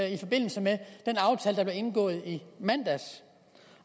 i forbindelse med den aftale der blev indgået i mandags